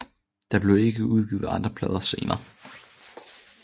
Der blev ikke udgivet andre plader senere